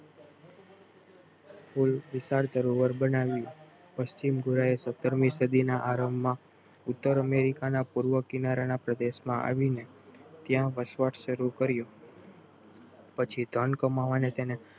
પુલ વિશાળ સરોવર બનાવ્યું પશ્ચિમ ગોરા એ સત્તરમી સદીના આરંભમાં ઉત્તર અમેરિકાના પૂર્વ કિનારાના પ્રદેશમાં આવીને ત્યાં વસવાટ શરૂ કર્યું પછી ધન કમાવાનો તેને